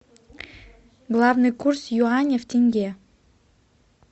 главный курс юаня в тенге